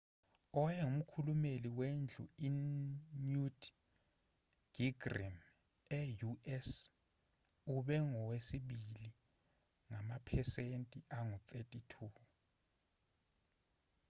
owayengumkhulumeli wendlu i-newt gingrich e-u.s. ube ngowesibili ngamaphesenti angu-32